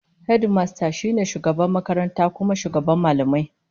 Hedimasta shi ne shugaban makaranta kuma shugaban mallamai